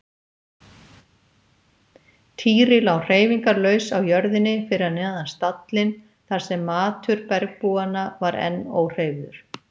Týri lá hreyfingarlaus á jörðinni fyrir neðan stallinn þar sem matur bergbúanna var enn óhreyfður.